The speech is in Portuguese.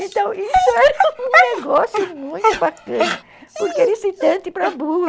Então, isso era um negócio muito bacana, porque era excitante para burro.